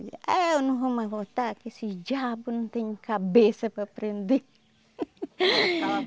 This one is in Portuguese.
Ah, eu não vou mais voltar que esses diabo não tem cabeça para aprender.